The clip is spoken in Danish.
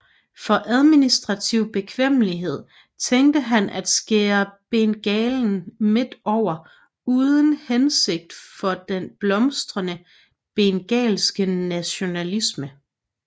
For administrativ bekvemmelighed tænkte han at skære Bengalen midt over uden hænsigt for den blomstrende bengalske nationalisme